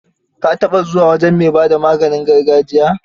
Ka taɓa zuwa wajen mai ba da maganin gargajiya?